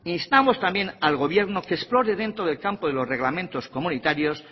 instamos también al gobierno que explore dentro del campo de los reglamentos comunitarios